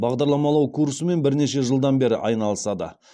бағдарламалау курсымен бірнеше жылдан бері айналысады